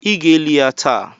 Ị ga-eli ya taa!